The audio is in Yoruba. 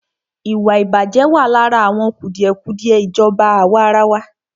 Ìwàìbàjẹ́ wà lára àwọn kùdìẹ̀kùdìẹ ìjọba àwàrawa.